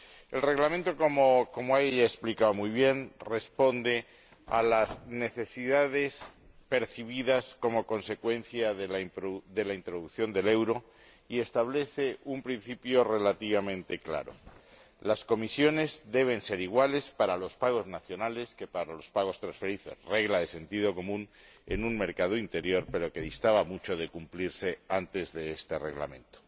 El Reglamento, como ya ella ha explicado muy bien, responde a las necesidades percibidas como consecuencia de la introducción del euro y establece un principio relativamente claro las comisiones deben ser iguales para los pagos nacionales que para los pagos transfronterizos, una regla de sentido común en un mercado interior pero que distaba mucho de cumplirse antes de este Reglamento.